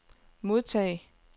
modtag